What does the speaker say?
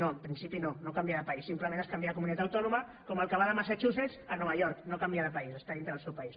no en principi no no canvia de país simplement es canvia de comunitat autònoma com el que va de massachusetts a nova york no canvia de país està dintre del seu país